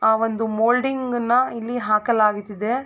ಆ ಒಂದು ಮೌಲ್ಡಿಂಗ್ ನ ಇಲ್ಲಿ ಹಾಕಲಾಗುತ್ತಿದೆ.